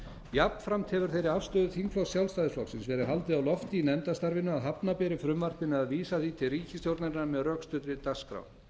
jafnframt hefur þeirri afstöðu þingflokks sjálfstæðisflokksins verið haldið á lofti í nefndarstarfinu að hafna beri frumvarpinu eða vísa því til ríkisstjórnarinnar með rökstuddri dagskrá